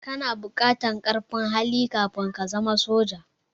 Kana buƙartar ƙarfin hali kafin ka zama soja.